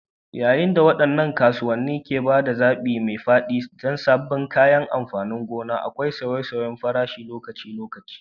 Yayin da waɗannan kasuwanni ke ba da zaɓi mai faɗi na sabbin kayan amfanin gona, akwai sauye-sauyen farashi lokaci-lokaci.